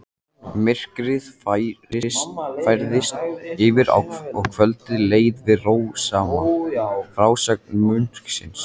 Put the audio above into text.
Myrkrið færðist yfir og kvöldið leið við rósama frásögn munksins.